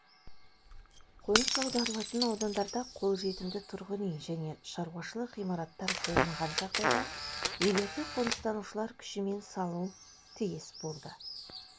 қоныс аударылатын аудандарда қол жетімді тұрғын үй және шаруашылық ғимараттар болмаған жағдайда үйлерді қоныстанушылар күшімен салыну тиіс болды